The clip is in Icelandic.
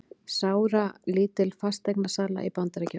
Sáralítil fasteignasala í Bandaríkjunum